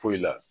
Foyi la